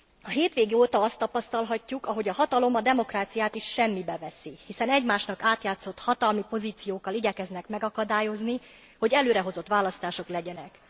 A hétvége óta tapasztalhatjuk, ahogy a hatalom a demokráciát is semmibe veszi, hiszen egymásnak átjátszott hatalmi pozíciókkal igyekeznek megakadályozni, hogy előrehozott választások legyenek.